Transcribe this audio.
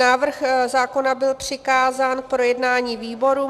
Návrh zákona byl přikázán k projednání výborům.